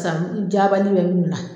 San jabali be minnu na